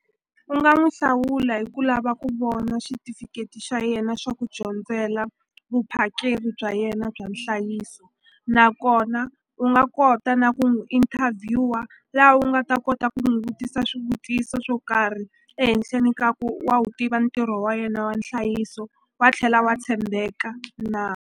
U nga n'wu hlawula hi ku lava ku vona xitifiketi xa yena xa ku dyondzela vuphakeri bya yena bya nhlayiso nakona u nga kota na ku n'wi interview-a la u nga ta kota ku n'wi vutisa swivutiso swo karhi ehenhleni ka ku wa wu tiva ntirho wa yena wa nhlayiso wa tlhela wa tshembeka na.